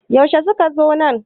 yaushe suka zo nan?